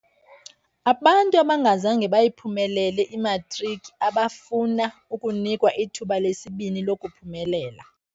Abantu abangazange bayiphumelele imatriki abafuna ukunikwa ithuba lesibini lokuphumelela.